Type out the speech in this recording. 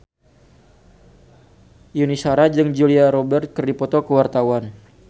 Yuni Shara jeung Julia Robert keur dipoto ku wartawan